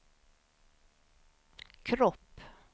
kropp